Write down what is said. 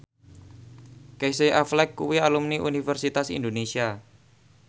Casey Affleck kuwi alumni Universitas Indonesia